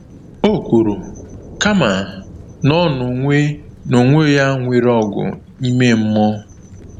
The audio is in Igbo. O kwuru, kama, na ọ n’onwe n’onwe ya nwere ọgụ ime mmụọ.